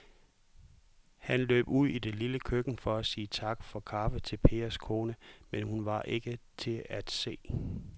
Han løb ud i det lille køkken for at sige tak for kaffe til Pers kone, men hun var ikke til at se.